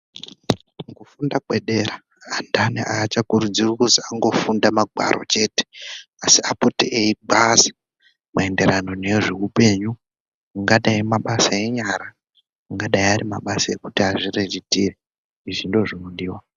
Kufunda kwedera antani aachakurudzirwi kuzi angofunda magwaro chete, asi apote eigwaze maenderano nezveupenyu, ungadai mabasa enyara, ungadai mabasa ekuti azviriritire. Izvi ndozvinodiwa.